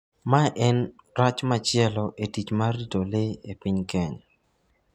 Mae en rach machielo e tich mar rito le e piny Kenya.